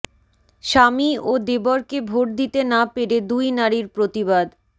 স্বামী ও দেবরকে ভোট দিতে না পেরে দুই নারীর প্রতিবাদ